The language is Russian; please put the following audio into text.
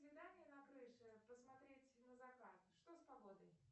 свидание на крыше посмотреть на закат что с погодой